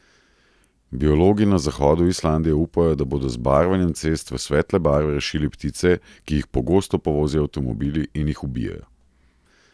Biologi na zahodu Islandije upajo, da bodo z barvanjem cest v svetle barve rešili ptice, ki jih pogosto povozijo avtomobili in jih ubijejo.